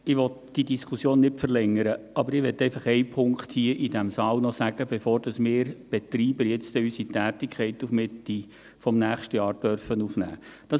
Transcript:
Ich will diese Diskussion nicht verlängern, aber ich möchte einfach einen Punkt hier im Saal noch erwähnen, bevor wir Betreiber unsere Tätigkeit dann auf Mitte nächstes Jahr aufnehmen dürfen.